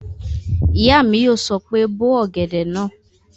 Ìyá mi yóò sọ pé "bó ọ̀gẹ̀dẹ̀ náà!"